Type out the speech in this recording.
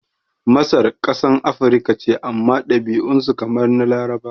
Masar kasan Afirika ce amma ɗabi'un su kamar na Larabawa